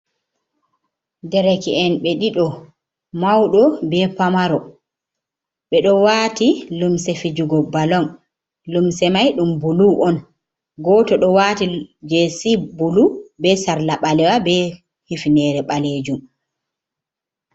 Dereke'en ɓe ɗiɗo mawɗo be pamaro ɓe ɗo waati limse fijugo balon. Limse may ɗum bulu on, gooto ɗo waati jesi bulu be sarla ɓalewa be hifnere ɓalejum.